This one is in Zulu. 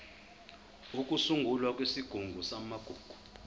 ukusungulwa kwesigungu samagugu